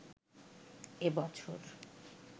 এ বছর